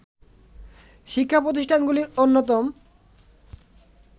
শিক্ষা প্রতিষ্ঠানগুলির অন্যতম